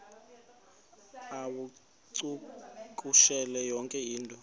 uwacakushele yonke into